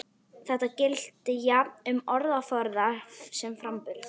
Þetta gilti jafnt um orðaforða sem framburð.